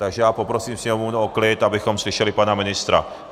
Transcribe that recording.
Takže já poprosím sněmovnu o klid, abychom slyšeli pana ministra.